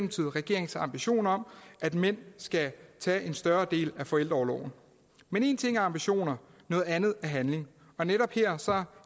regeringens ambition om at mænd skal tage en større del af forældreorloven men en ting er ambitioner noget andet er handling og netop her